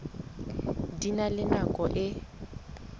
di na le nako e